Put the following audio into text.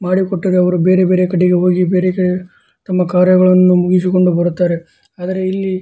ಮಾಡಿಕೊಟ್ಟಿರುವವರು ಬೇರೆ ಬೇರೆ ಕಡೆಗೆ ಹೋಗಿ ಬೇರೆ ಬೇರೆ ತಮ್ಮ ಕಾರ್ಯಗಳನ್ನು ಮುಗಿಸಿಕೊಂಡು ಬರುತ್ತಾರೆ ಅದರಲ್ಲಿ --